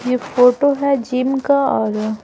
ये फोटो है जिम का और--